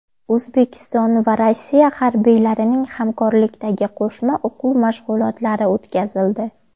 O‘zbekiston va Rossiya harbiylarining hamkorlikdagi qo‘shma o‘quv mashg‘ulotlari o‘tkazildi .